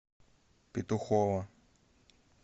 петухово